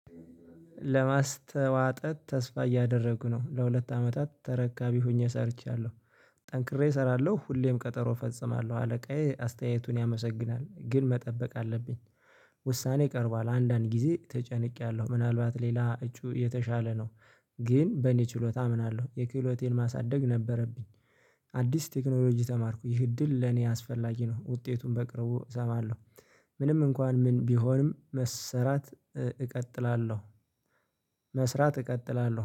ለማስተዋጠት ተስፋ እያደረጉ ነው። ለሁለት አመታት ተረካቢ ሆኜ ሰርቻለሁ፤ ጠንክሬ እሰራለሁ ሁሌም ቀጠሮ እፈጽማለሁ፣ አለቃዬ አስተያየቱን ያመሰግናል ግን መጠበቅ አለብኝ። ውሳኔ ቀርቧል አንዳንድ ጊዜ ተጨንቄያለሁ ምናልባት ሌላ እጩ የተሻለ ነው፣ ግን በእኔ ችሎታ አምናለሁ የክህሎቴን ማሳደግ ነበረብኝ። አዲስ ቴክኖሎጂ ተማርኩ ይህ እድል ለኔ አስፈላጊ ነው ውጤቱን በቅርቡ እሰማለሁ ምንም እንኳን ምን ቢሆንም መሰራት እቀጥላለሁ መስራት እቀጥላለሁ